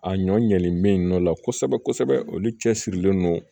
A ɲɔ ɲɛlen mɛ nɔ la kosɛbɛ kosɛbɛ olu cɛsirilen don